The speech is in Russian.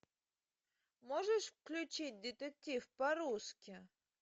можешь включить детектив по русски